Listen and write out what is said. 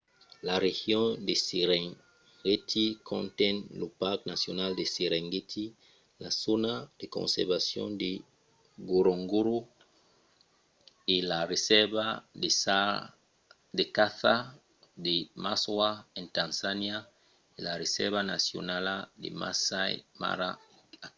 la region de serengeti conten lo parc nacional de serengeti la zòna de conservacion de ngorongoro e la resèrva de caça de maswa en tanzania e la resèrva nacionala de masai mara a kenya